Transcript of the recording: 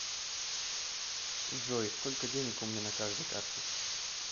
джой сколько денег у меня на каждой карте